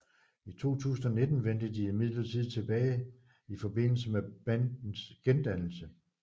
I 2019 vendte de imidlertid tilbage i forbindelse med bandets gendannelse